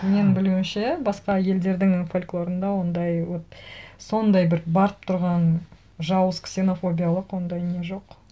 мен білуімше басқа елдердің фольклорында ондай вот сондай бір барып тұрған жауыз ксенофобиялық ондай не жоқ